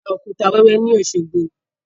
A ó ra òkúta wẹ́wẹ́ ni Osogbo